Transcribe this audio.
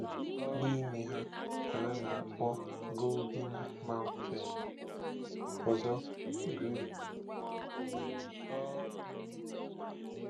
Otu n'ime ha ka a na-akpọ Golden-Mouthed; ọzọ, Great.